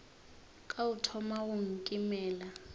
ka o thoma go nkimela